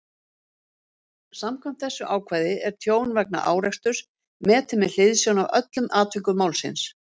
Samkvæmt þessu ákvæði er tjón vegna áreksturs metið með hliðsjón af öllum atvikum málsins.